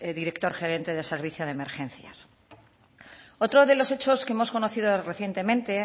director gerente del servicio de emergencias otro de los hechos que hemos conocido recientemente